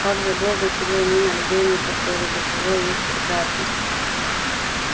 так забыл до чего они на людей не похожи до чего их прекрасней